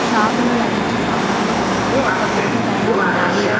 Shop లో లభించు సామాన్లు బొమ్మలు ఒక్క బోర్డు పైన ఉన్నాయి.